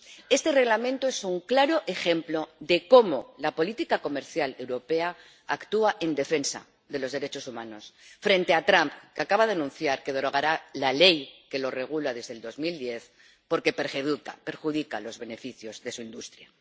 Este Reglamento es un claro ejemplo de cómo la política comercial europea actúa en defensa de los derechos humanos. Frente a Trump, que acaba de anunciar que derogará la ley que lo regula desde 2010 porque perjudica los beneficios de su industria.